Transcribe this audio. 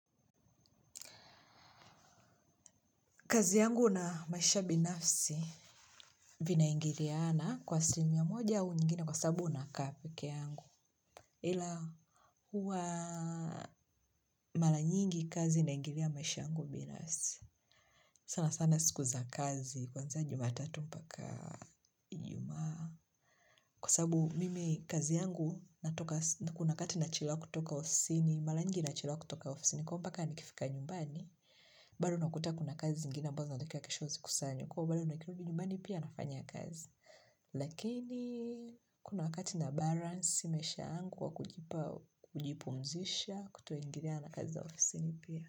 Kazi yangu na maisha binafsi vinaingiliana kwa asilimia moja au nyingine kwa saabu nakaa peke yangu. Ila huwa mala nyingi kazi inaingiria maisha yangu binafsi. Sana sana sikuza kazi kwanza juma tatu mpaka ijumaa. Kwa saabu mimi kazi yangu kuna wakati nachelewa kutoka ofisini mala nyingi nachelewa kutoka ofisini kwa mpaka nikifika nyumbani. Bali unakuta kuna kazi zingine ambazo zinatakiwa kesho zikusanywe kwa bali unakiru ujimani pia nafanya kazi lakini kuna wakati na baransi maisha angu wa kujipumzisha kutoingiriana kazi za ofisi ni pia.